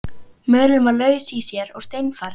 Mölin var laus í sér og seinfarin.